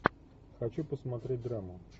хочу посмотреть драму